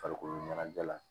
Farikolo ɲɛnajɛ la